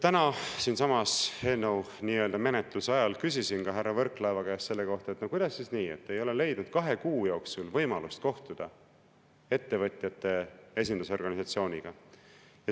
Täna küsisin siinsamas eelnõu nii-öelda menetluse ajal ka ise härra Võrklaeva käest selle kohta, kuidas siis nii, et ta ei ole leidnud kahe kuu jooksul võimalust kohtuda ettevõtjate esindusorganisatsiooniga.